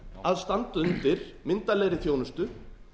að standa undir myndarlegri þjónustu